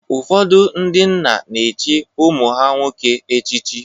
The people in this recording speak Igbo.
Ụfọdụ ndị nna na-echi ụmụ ha nwoke echichi.